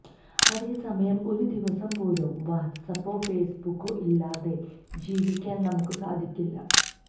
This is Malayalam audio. അതേ സമയം ഒരു ദിവസം പോലും വാട്ട്സാപ്പോ ഫേസ്ബുക്കോ ഇല്ലാതെ ജീവിക്കാന് നമുക്ക് സാധിക്കില്ല